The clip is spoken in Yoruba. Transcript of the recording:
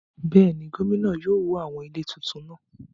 Bẹ́ẹ̀ni, gómìnà yóò wó àwọn ilé tuntun náà